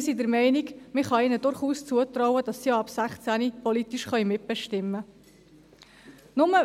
Wir sind der Meinung, man könne ihnen durchaus zutrauen, dass sie ab 16 auch politisch mitbestimmen können.